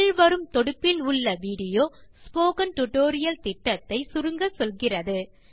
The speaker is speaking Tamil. கீழ் வரும் தொடுப்பில் விடியோ ஸ்போக்கன் டியூட்டோரியல் புரொஜெக்ட் ஐ சுருக்கமாக சொல்லுகிறது